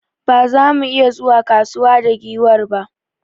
Ba za mu iya zuwa kusa da giwar ba.